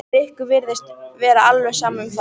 Rikku virtist vera alveg sama um það.